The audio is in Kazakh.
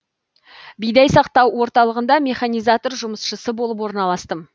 бидай сақтау орталығында механизатор жұмысшысы болып орналастым